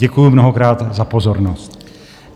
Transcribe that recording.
Děkuji mnohokrát za pozornost.